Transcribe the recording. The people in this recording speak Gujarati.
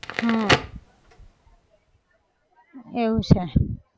હા એવું છે